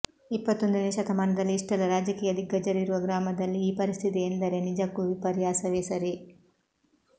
ಇಪ್ಪತ್ತೊಂದನೆಯ ಶತಮಾನದಲ್ಲಿ ಇಷ್ಟೆಲ್ಲ ರಾಜಕೀಯ ದಿಗ್ಗಜರು ಇರುವ ಗ್ರಾಮದಲ್ಲಿ ಈ ಪರಿಸ್ಥಿತಿ ಇದೆ ಎಂದರೆ ನಿಜಕ್ಕೂ ವಿರ್ಯಾಸವೇ ಸರಿ